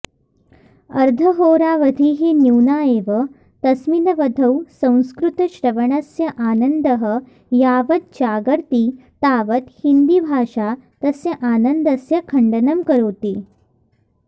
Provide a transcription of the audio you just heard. अर्धहोरावधिः न्यूना एव तस्मिनवधौ संस्कृतश्रवणस्य आनन्दः यावत् जागर्ति तावत् हिन्दीभाषा तस्य आनन्दस्य खण्डनं करोति